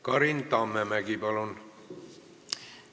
Karin Tammemägi, palun!